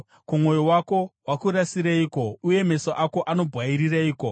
Ko, mwoyo wako wakurasireiko, uye meso ako anobwairireiko,